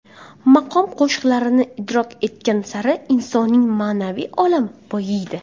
Maqom qo‘shiqlarini idrok etgan sari, insonning ma’naviy olami boyiydi”.